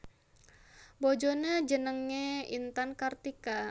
Bojoné jenengé Intan Kartika